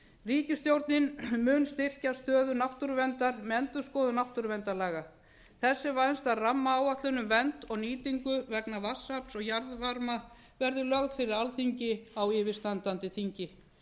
ríkisstjórnin mun styrkja stöðu náttúruverndar með endurskoðun náttúruverndarlaga þess er vænst að rammaáætlun um vernd og nýtingu vegna vatnsafls og jarðvarma verði lögð fyrir alþingi á yfirstandandi þingi